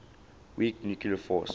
weak nuclear force